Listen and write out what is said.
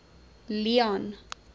leone